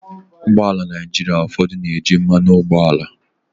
Ụgbọ ala Naịjirịa ụfọdụ na-eji mmanụ ụgbọala.